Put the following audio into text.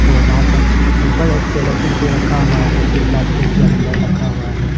और वहाँ पर ऊपर एक सेलौटी पे रखा हुआ है जो प्लास्टिक के अंदर रखा हुआ है।